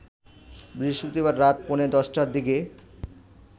বৃহস্পতিবার রাত পৌনে ১০টার দিকে